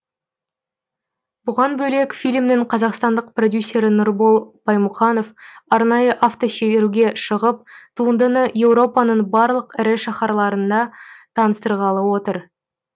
бұған бөлек фильмнің қазақстандық продюсері нұрбол баймұқанов арнайы автошеруге шығып туындыны еуропаның барлық ірі шаһарларында таныстырғалы отыр